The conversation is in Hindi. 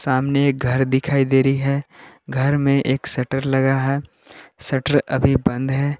सामने एक घर दिखाई दे रही है घर में एक शटर लगा है शटर अभी बंद है।